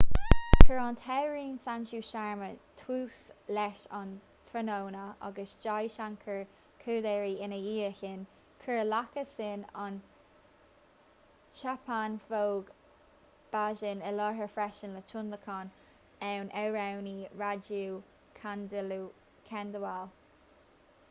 chuir an t-amhránaí sanju sharma tús leis an tráthnóna agus jai shankar choudhary ina dhiaidh sin chuir lakkha singh an chhappan bhog bhajan i láthair freisin le tionlacan ón amhránaí raju khandelwal